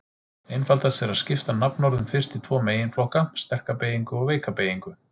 Einfaldast er að skipta nafnorðum fyrst í tvo meginflokka: sterka beygingu og veika beygingu.